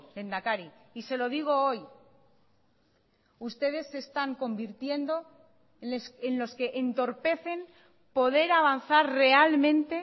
lehendakari y se lo digo hoy ustedes se están convirtiendo en los que entorpecen poder avanzar realmente